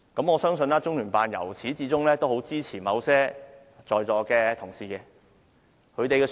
我相信中聯辦由始至終也很支持在座某些議員。